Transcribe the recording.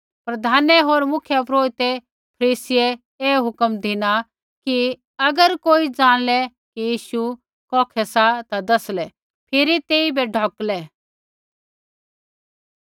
प्रधानै होर मुख्यपुरोहिते होर फरीसियै ऐ हुक्म धिना ती कि अगर कोई ऐ जाणलै कि यीशु कौखै सा ता दसलै फिरी तेइबै ढोकलै